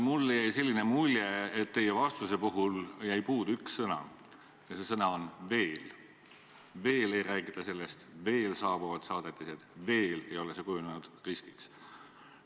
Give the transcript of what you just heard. Mulle jäi selline mulje, et teie vastusest jäi puudu üks sõna ja see sõna oli "veel": veel ei räägita sellest, veel saabuvad saadetised, veel ei ole see kujunenud riskiks.